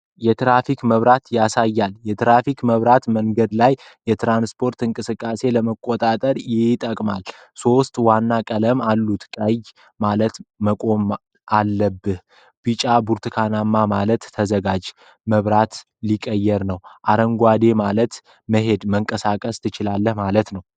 የትራፊክ መብራት ያሳያል። የትራፊክ መብራት መንገድ ላይ የትራንስፖርት እንቅስቃሴን ለመቆጣጠር ይጠቅማል። ሦስት ዋና ቀለሞች አሉት። ቀይ ማለት መቆም አለብህ። ቢጫ/ብርቱካናማ ማለት ተዘጋጅ፣ መብራቱ ሊቀየር ነው። አረንጓዴ ማለት መሄድ/መንቀሳቀስ ትችላለህ ማለት ነው።